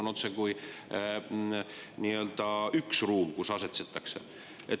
Nüüd selgub, et see ruum on otsekui üks ruum, kus asetsetakse.